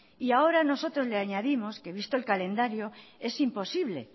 y ahora nosotros le añadimos que visto el calendario es imposible